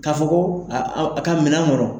K'a fɔ ko a ka minan kɔrɔ.